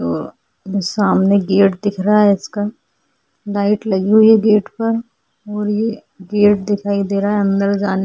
अ सामने गेट दिख रहा है इसका लाइट लगी हुई है गेटपर और ये गेट दिखाई दे रहा है अंदर जाने --